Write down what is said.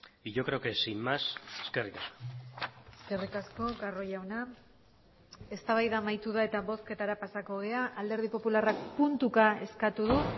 y yo creo que sin más eskerrik asko eskerrik asko carro jauna eztabaida amaitu da eta bozketara pasako gara alderdi popularrak puntuka eskatu du